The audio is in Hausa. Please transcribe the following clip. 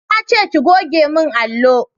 Nace ki goge mun allo!